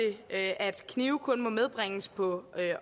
at knive kun må medbringes på